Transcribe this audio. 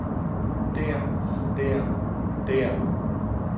der der der